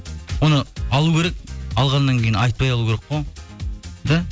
оны алу керек алғаннан кейін айтпай алу керек қой да